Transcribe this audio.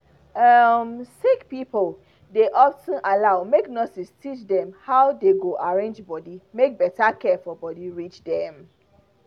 um sick pipo dey of ten allow make nurses teach dem how dey go arrange body make better care for body reach dem.